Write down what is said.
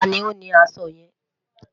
tani o ni aṣọ yẹn?